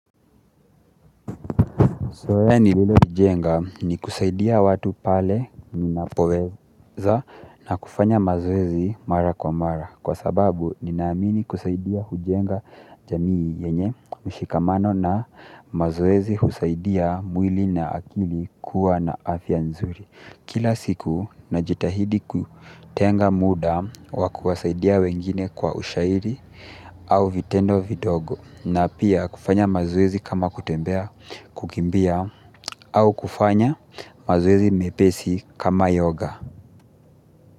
Zoea nililojenga ni kusaidia watu pale ninapoweza na kufanya mazoezi mara kwa mara kwa sababu ninaamini kusaidia hujenga jamii yenye mshikamano na mazoezi husaidia mwili na akili kuwa na afya nzuri kila siku najitahidi kutenga muda wa kuwasaidia wengine kwa ushairi au vitendo vidogo na pia kufanya mazoezi kama kutembea kukimbia au kufanya mazoezi mepesi kama yoga.